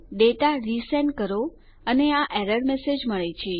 data resend કરો અને આ એરર મેસેજ મળે છે